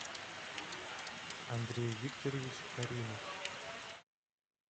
андрей викторович каримов